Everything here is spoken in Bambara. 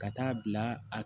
Ka taa bila a